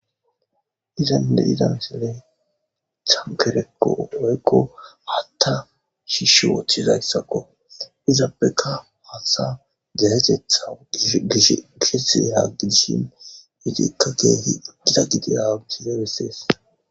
izanide idanshere chankereko owayekko hatta shisho wothizayssako izaabeka haasa dayatetha gesiagidishimu itikka teehi dizadidiyausizebessees